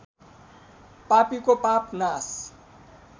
पापीको पाप नाश